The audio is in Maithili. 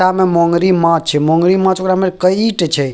इहाँ में मोंगरी माछ छे मोंगरी माछ ओकरा में कई ठो छे।